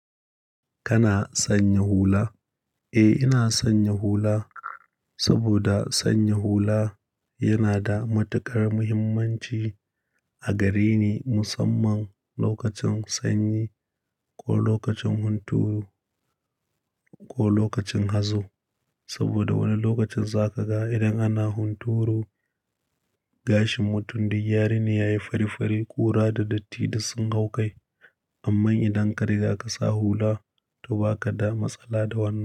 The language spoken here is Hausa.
Kana sanya hula? Eh, ina sanya hula saboda sanya hula yana da matuƙar muhimmanci a gare ni musamman lokacin sanyi ko lokacin hunturu ko lokacin hazo. Saboda wani lokacin za ka ga irin ana hunturu gashin mutum da yarene yayi fari fari, ƙura da datti duk sun hau kai. Amma idan ka riga ka sa hula, toh ba ka da matsala da wannan.